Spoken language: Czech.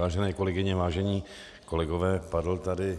Vážené kolegyně, vážení kolegové, padl tady